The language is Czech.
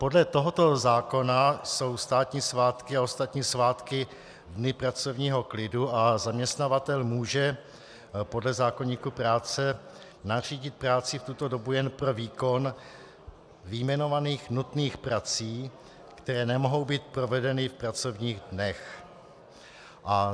Podle tohoto zákona jsou státní svátky a ostatní svátky dny pracovního klidu a zaměstnavatel může podle zákoníku práce nařídit práci v tuto dobu jen pro výkon vyjmenovaných nutných prací, které nemohou být provedeny v pracovních dnech.